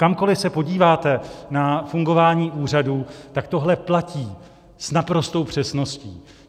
Kamkoli se podíváte na fungování úřadu, tak tohle platí s naprostou přesností.